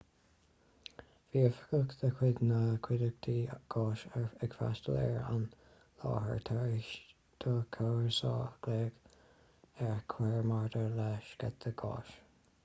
bhí oifigeach de chuid na cuideachta gáis ag freastail ar an láthair tar éis do chomharsa glao a chur maidir le sceitheadh gáis